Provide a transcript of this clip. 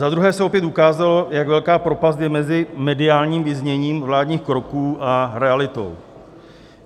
Za druhé se opět ukázalo, jak velká propast je mezi mediálním vyzněním vládních kroků a realitou.